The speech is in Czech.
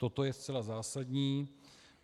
Toto je zcela zásadní.